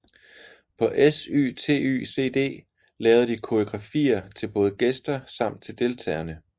På SYTYCD lavede de koreografier til både gæster samt til deltagerne